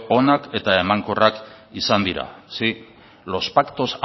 onak eta emankorrak izan dira sí los pactos